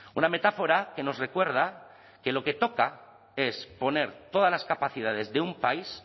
una metáfora que nos recuerda que lo que toca es poner todas las capacidades de un país